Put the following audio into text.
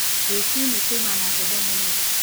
Rũcinĩ kuma na heho mũno